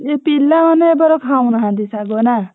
ଯେ ପିଲାମାନେ ଏବର ଖାଉନାହାନ୍ତି ଶାଗ ନା?